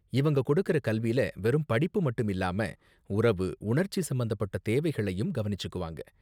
இவங்க கொடுக்கற கல்வில வெறும் படிப்பு மட்டும் இல்லாம, உறவு, உணர்ச்சி சம்பந்தப்பட்ட தேவைகளையும் கவனிச்சுக்குவாங்க..